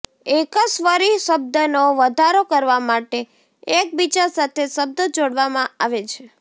એકસ્વરી શબ્દનો વધારો કરવા માટે એકબીજા સાથે શબ્દો જોડવામાં આવે છે